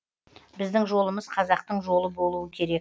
біздің жолымыз қазақтың жолы болуы керек